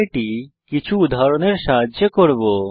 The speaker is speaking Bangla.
এটি কিছু উদাহরণের সাহায্যে করব